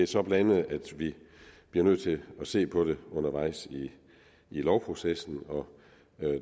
så blandet at vi bliver nødt til at se på det undervejs i lovprocessen og